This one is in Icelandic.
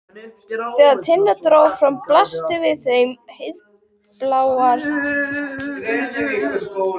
Þegar Tinna dró frá blasti við þeim heiðblár himinn.